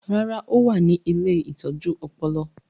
Rárá, ó wà ní “ ilé ìtọ́jú ọpọlọ ”